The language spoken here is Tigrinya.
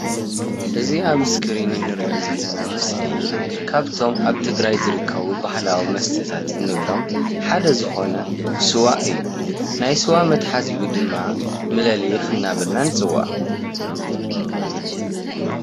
እዚ ኣብ እስክሪን እንሪኦ ዘለና ምስሊ ካፍቶም ኣብ ትግራይ ዝርከቡ ባህላዊ መስተታት እንብሎም ሓደ ዝኮነ ስዋ እዩ። ናይ ስዋ መትሓዚኡ ድማ መነሊክ እንዳበልና ንፅውዖ::